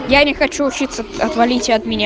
я не хочу учиться отвалите от меня